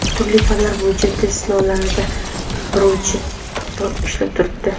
Turli fanlar bo‘yicha test savollari beruvchi bot ishlab turibdi.